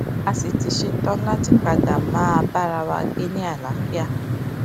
a sì ti ṣetán láti padà máa bára wa gbé ní àlàáfíà